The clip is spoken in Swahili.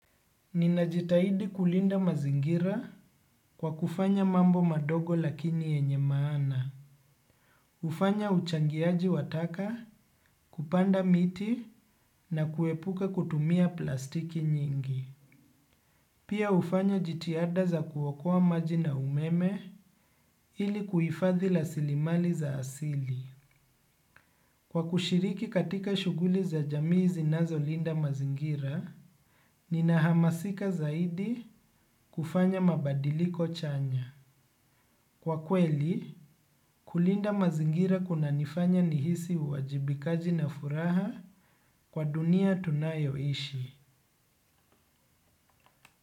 Ninajitahidi kulinda mazingira kwa kufanya mambo madogo lakini yenye maana. Hufanya uchangiaji wa taka kupanda miti na kuepuka kutumia plastiki nyingi. Pia hufanya jitihada za kuokoa maji na umeme ili kuhifadhi rasilimali za asili. Kwa kushiriki katika shughuli za jamii zinazolinda mazingira, ninahamasika zaidi kufanya mabadiliko chanya. Kwa kweli, kulinda mazingira kunanifanya nihisi uwajibikaji na furaha kwa dunia tunayoishi.